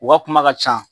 U ka kuma ka ca